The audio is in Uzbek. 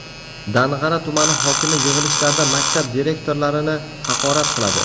Dang‘ara tumani hokimi yig‘ilishlarda maktab direktorlarini haqorat qiladi.